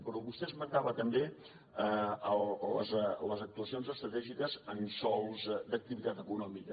però vostè esmentava també les actuacions estratègiques en sòls d’activitat econòmica